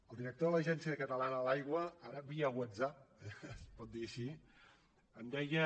el director de l’agència catalana de l’aigua ara via whatsapp es pot dir així em deia